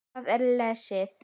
Þá er lesið